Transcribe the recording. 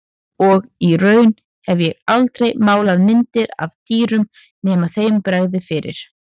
Og í raun hef ég aldrei málað myndir af dýrum nema þeim bregði fyrir.